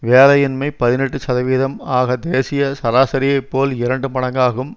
வேலையின்மை பதினெட்டு சதவீதம் ஆக தேசிய சராசரியைப் போல் இரண்டு மடங்காகும்